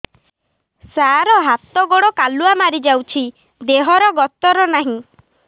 ସାର ହାତ ଗୋଡ଼ କାଲୁଆ ମାରି ଯାଉଛି ଦେହର ଗତର ନାହିଁ